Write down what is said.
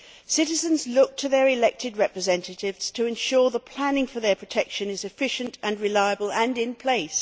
Citizens look to their elected representatives to ensure the planning for their protection is efficient and reliable and in place.